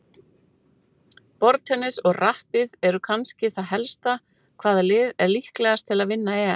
Borðtennis, og rappið eru kannski það helsta Hvaða lið er líklegast til að vinna EM?